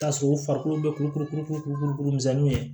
Taa sɔrɔ u farikolo bɛ kuru kuru kuru kuru kuru kuru kuru kuru misɛnninw ye